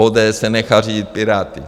ODS se nechá řídit Piráty.